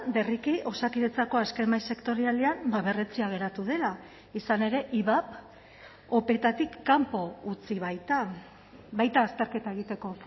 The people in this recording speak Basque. berriki osakidetzako azken mahai sektorialean berretsia geratu dela izan ere ivap opeetatik kanpo utzi baita baita azterketa egiteko